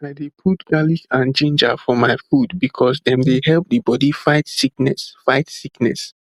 i dey put garlic and ginger for my food because dem dey help the body fight sickness fight sickness